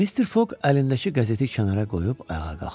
Mister Foq əlindəki qəzeti kənara qoyub ayağa qalxdı.